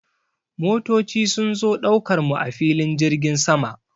Motoci sun zo ɗaukar mu a filin jirgin sama.